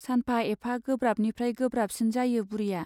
सानफा एफा गोब्राबनिफ्राइ गोब्राबसिन जायो बुरिया।